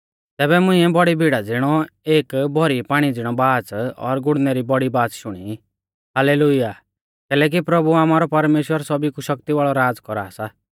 तैबै मुंइऐ बौड़ी भीड़ा ज़िणौ और भौरी पाणी ज़िणी बाच़ और गुड़णै री बौड़ी बाच़ शुणी हाल्लेलुय्याह कैलैकि प्रभु आमारौ परमेश्‍वर सौभी कु शक्ति वाल़ौ राज़ कौरा सा